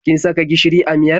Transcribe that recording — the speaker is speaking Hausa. Kin saka gishiri a miyar?